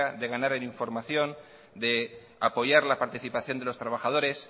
de ganar en información de apoyar la participación de los trabajadores